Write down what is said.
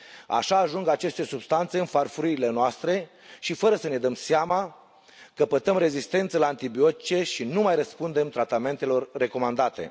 Așa ajung aceste substanțe în farfuriile noastre și, fără să ne dăm seama, căpătăm rezistență la antibiotice și nu mai răspundem tratamentelor recomandate.